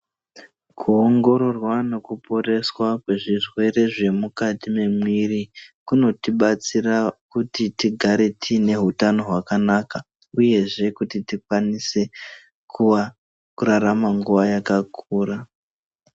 Kuongororwa nekuporeswa kwezvirwere zvemukati memuviri kunotibatsira kuti tigare tine hutano hwakana uyezve kuti tikwanise kurarama nguva yakakura.